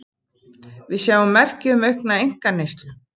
Við sjáum merki um aukna einkaneyslu